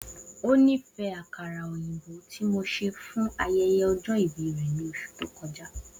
O nifẹ akara oyinbo ti mo ṣe fun ayẹyẹ ọjọ-ibi rẹ ni oṣu to kọja